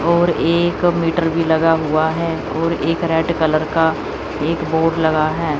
और एक मीटर भी लगा हुआ है और एक रेड कलर का एक बोर्ड लगा है।